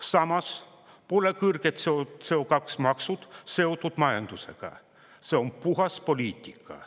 Samas pole kõrged CO2-maksud seotud majandusega, see on puhas poliitika.